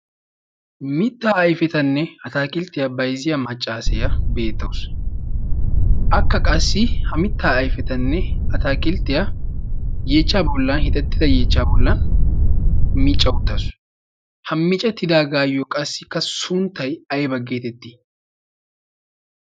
mittaa ayfetanne ataakilttiyaa baizziya maccaasiyaa beettausu akka qassi ha mittaa ayfetanne ataaqilttiyaa yeechcha bollan hixettida yeechchaa bollan miiccauttaasu ha micettidaagaayiyo qassikka sunttay ayba geetettii